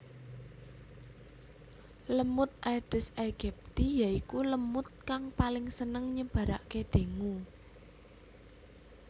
LemutAedes aegypti ya iku lemut kang paling seneng nyebarake dengue